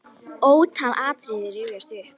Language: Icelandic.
Ótal atriði rifjast upp.